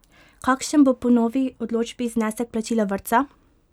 Kakšen bo po novi odločbi znesek plačila vrtca?